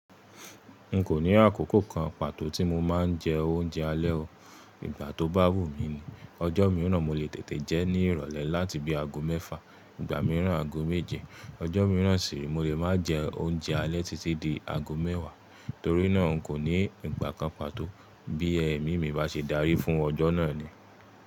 N kò ní àkókò kan pàtó tí mo máa ń jẹ oúnjẹ alẹ́ o. Ìgbà tó bá wù mí ni. Ọjọ́ mìíràn mo lè tètè jẹ́ ní ìrọ̀lẹ́ láti bí aago mẹ́fà, ìgbà mìíràn aago méje. Ọjọ́ mìíràn sì, mo lè máa jẹ oúnjẹ alẹ́ títí di aago mẹ́wàá. Torí náà n kò ní ìgbà kan pàtó bí ẹ̀mí mi bá ṣe darí fún ọjọ́ náà ni.